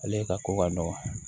Ale ka ko ka nɔgɔ